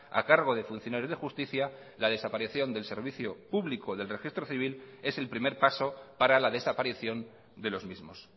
a cargo de funcionarios de justicia la desaparición del servicio público del registro civil es el primer paso para la desaparición de los mismos